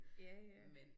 Ja ja